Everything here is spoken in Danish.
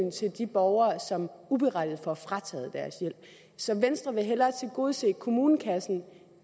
borgere som uberettiget får frataget deres hjælp så venstre vil hellere tilgodese kommunekassen